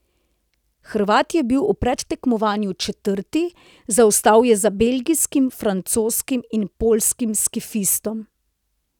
Hrvat je bil v predtekmovanju četrti, zaostal je za belgijskim, francoskim in poljskim skifistom.